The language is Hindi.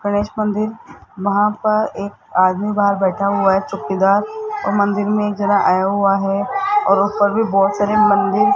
गणेश मंदिर वहां पर एक आदमी बाहर बैठा हुआ है चौकीदार और मंदिर मे जरा आया हुआ है और ऊपर भी बहोत सारे मंदिर --